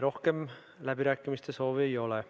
Rohkem läbirääkimiste soovi ei ole.